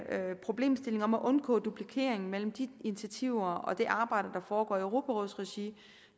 problemstillingen om at undgå duplikering mellem de initiativer og det arbejde der foregår i europarådets regi